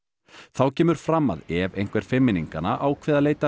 þá kemur fram að ef einhver fimmmenninganna ákveði að leita